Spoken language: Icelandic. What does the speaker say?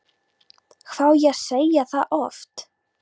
Hvað á ég að segja það oft?!